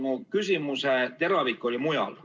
Mu küsimuse teravik oli mujal.